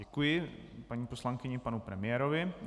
Děkuji paní poslankyni i panu premiérovi.